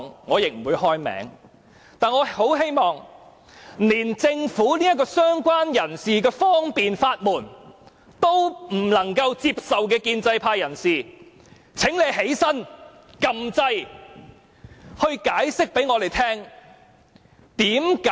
我很希望連政府為"相關人士"所設的這道方便之門也不能接受的建制派人士會站起來，按下"要求發言"按鈕，向我們作出解釋。